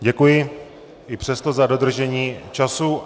Děkuji i přesto za dodržení času.